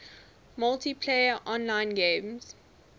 multiplayer online games